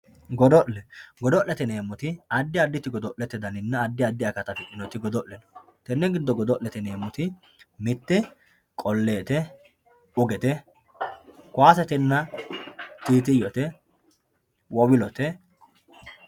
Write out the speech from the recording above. godo'le godo'lete yineemoti addi additi godo'lete daninna addi addi akata afixinoti godo'le no tenne giddo godo'lete yineemoti mitte qoleete, ugete, koyaasetenna tiitiyote, womilote